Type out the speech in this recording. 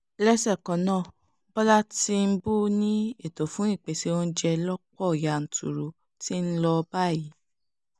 lẹ́sẹ̀ kan náà bọ́lá tìǹbù ni ètò fún ìpèsè oúnjẹ lọ̀pọ̀ yanturu ti ń lọ báyìí